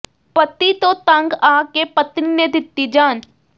ਪਤੀ ਤੋਂ ਤੰਗ ਆ ਕੇ ਪਤਨੀ ਨੇ ਦਿੱਤੀ ਜਾਨ